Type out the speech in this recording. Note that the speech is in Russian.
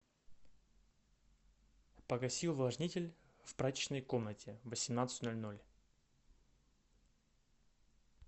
погаси увлажнитель в прачечной комнате в восемнадцать ноль ноль